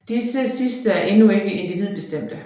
Disse sidste er endnu ikke individbestemte